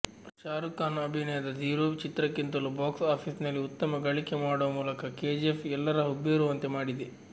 ಶಾರುಖ್ ಖಾನ್ ಅಭಿನಯದ ಝೀರೋ ಚಿತ್ರಕ್ಕಿಂತಲೂ ಬಾಕ್ಸ್ ಆಫೀಸಲ್ಲಿ ಉತ್ತಮ ಗಳಿಕೆ ಮಾಡುವ ಮೂಲಕ ಕೆಜಿಎಫ್ ಎಲ್ಲರ ಹುಬ್ಬೇರುವಂತೆ ಮಾಡಿದೆ